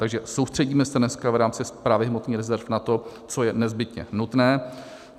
Takže soustředíme se dneska v rámci správy hmotných rezerv na to, co je nezbytně nutné.